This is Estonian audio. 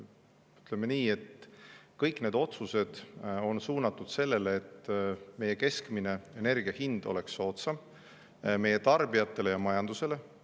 Ütleme nii, et kõik need otsused on suunatud sellele, et keskmine energia hind oleks soodsam meie tarbijatele ja majandusele.